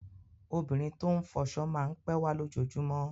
Obìnrin tó ń fọṣọ máa ń pẹ́ wá lójoojúmọ́.